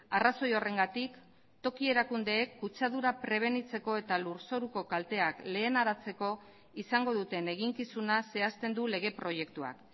arrazoi horrengatik toki erakundeek kutsadura prebenitzeko eta lur zoruko kalteak lehenaratzeko izango duten eginkizuna zehazten du lege proiektuak